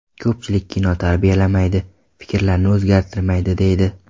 Ko‘pchilik kino tarbiyalamaydi, fikrlarni o‘zgartirmaydi, deydi.